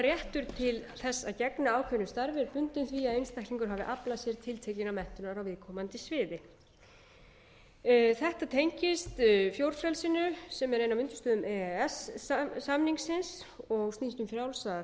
réttur til þess að gegna ákveðnu starfi er bundinn því að einstaklingur hafi aflað sér tiltekinnar menntunar á viðkomandi sviði þetta tengist fjórfrelsinu sem er ein af undirstöðum e e s samningsins og snýst um frjálsa